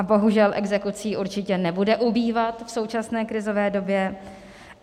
A bohužel exekucí určitě nebude ubývat v současné krizové době.